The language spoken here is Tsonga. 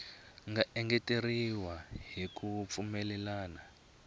nga engeteriwa hi ku pfumelelana